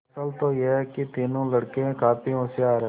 असल तो यह कि तीनों लड़के काफी होशियार हैं